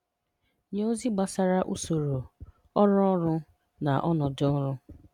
Nye ozi gbasara usoro, ọrụ ọrụ na ọnọdụ ọrụ